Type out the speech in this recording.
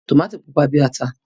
Tòmátò pupa bí ata.